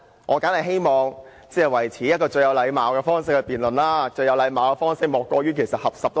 我當然希望以最有禮貌的方式辯論，而最有禮貌的方式莫過於合十。